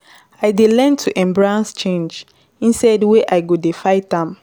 I don learn to embrace change instead wey I go dey fight am.